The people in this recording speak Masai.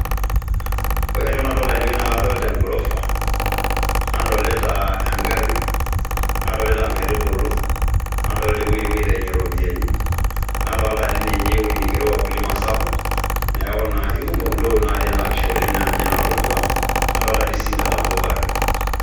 Ore entoki nadolita tenewoi naa kadolita engorofa, nadolita engarri, nadolita inkaitubulu, nadolita ewuoi napuoi aaitinye iropiyiani, nadolita dii ninye ewuoi naigero Wakulima SACCO, neaku naa ikumok intokin naatii ena pisha oleng' naa ninche nanu atodua, nadoolta sii inkatambo bado